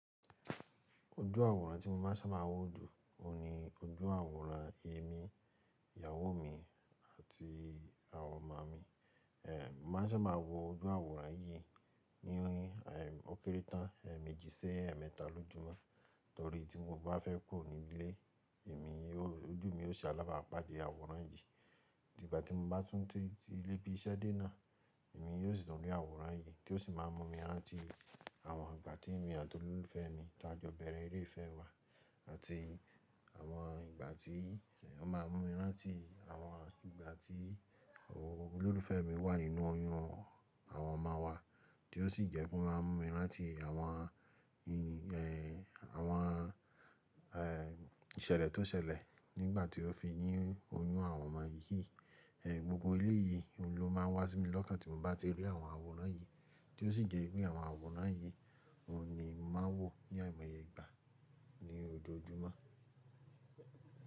Ojú àwòrán tí mo máa ń sábà máa wo jù, òun ni ojú àwòrán èmi, ìyàwó mi àti àwọn ọmọ mi. Ehn, mo ma ń sábà máa wo ojú àwòrán yìí ní ókéré tán, èèmejì sí, ẹ̀mẹta lójúmọ́. Torí tí mo bá fẹ́ kúrò ní ilé, èmi, ojú mi ó se alábàpáde àwòrán yìí. Ìgbà tí mo bá tún ti lé bí iṣẹ́ dé náà, èmi yóò sì tún rí àwòrán yìí tí ó sì máa ń mú mi ránti àwọn ìgbà tí èmi àti olólùfẹ́ mi tá jọ bẹ̀rẹ̀ eré ìfẹ́ wa àti àwọn ìgbà tí ó máa ń mú mi láti àwọn ìgbà tí olólùfẹ́ mi wà nínú oyún àwọn ọmọ wa tí ó sì jẹ́ kó máa ń mú mi ránti àwọn, ehn, àwọn, ehn, ìṣẹ̀lẹ̀ tó ṣẹlẹ̀ nígbà tí ó fi ní oyún àwọn ọmọ yìí. Ehn, gbogbo èléyìí, òun ló máa ń wá sí mi lọ́kàn tí mo bá ti rí àwọn àwòrán yìí tí ó sì jẹ́ pé àwọn àwòrán yìí, òun ni mo máa ń wò ní àìmọye ìgbà ní ojoojúmọ́.